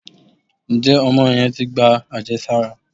Njé Omo yen tí gbá ajésárá